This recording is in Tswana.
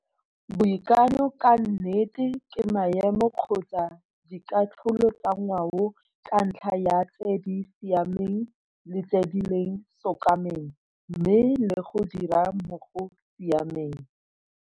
Boikanyo ka nnete ke maemo kgotsa dikatlholo tsa ngwao ka ntlha ya tse di siameng le tse di leng sokameng mme le go dira mo go siameng!